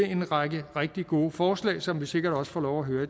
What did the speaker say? en række rigtig gode forslag som vi sikkert også får lov at høre